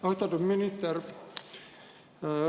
Austatud minister!